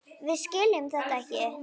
Við skiljum þetta ekki.